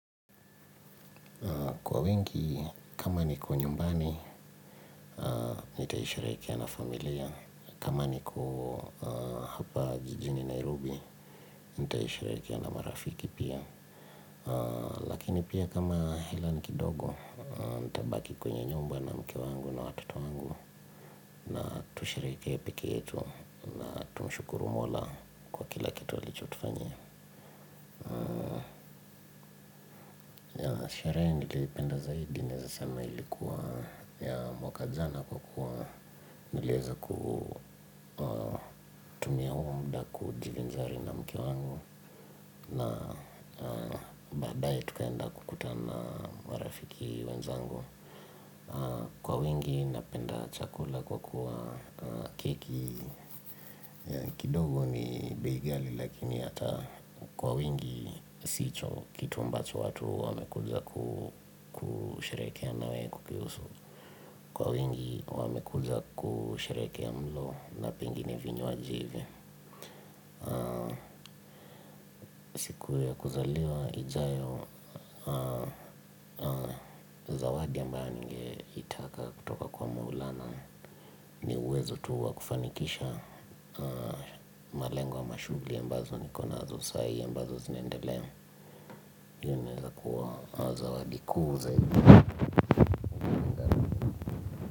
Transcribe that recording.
Kwa wengi, kama niko nyumbani, nitaisherehekea na familia. Kama niko hapa jijini, Nairobi, nitaisharehekea na marafiki pia. Lakini pia kama hela ni kidogo, nitabaki kwenye nyumba na mke wangu na watoto wangu. Na tusherehekee pekee yetu, na tumshukuru mola, kila kitu alichotufanyia. Sherehe niliipenda zaidi naeza sema ilikuwa ya mwaka jana kwa kuwa niliweza kutumia huu muda kujivinjari na mke wangu na baadaye tukaenda kukutana marafiki wenzangu. Kwa wingi napenda chakula kwa kuwa keki kidogo ni bei ghali lakini hata kwa wingi sicho kitu ambacho watu wamekuja kusherehekea nawe kukihusu. Kwa wingi wamekuja kusherehekea mlo na pengine vinwaji hivo siku ya kuzaliwa ijayo zawadi ambayo ningeitaka kutoka kwa maulana uwezo tu wa kufanikisha malengo ama mashuguli ambazo niko nazo sai ambazo zinaendelea iyo inaweza kuwa zawadi kuu zaidi.